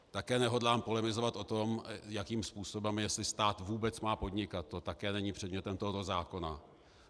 Také nehodlám polemizovat o tom, jakým způsobem, jestli stát vůbec má podnikat, to také není předmětem tohoto zákona.